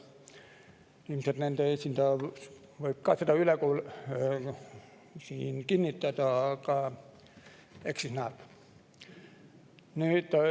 Ilmselt nende esindaja võib seda siin kinnitada, aga eks näeb.